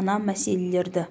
мына мәселелерді